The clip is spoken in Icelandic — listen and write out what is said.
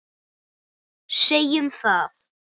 Segjum það.